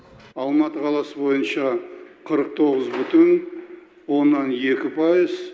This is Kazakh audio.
алматы қаласы бойынша қырық тоғыз бүтін оннан екі пайыз